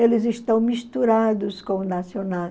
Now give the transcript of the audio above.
Eles estão misturados com o nacional.